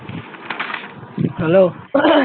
hello